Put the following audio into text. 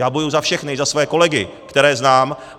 Já bojuji za všechny, za své kolegy, které znám.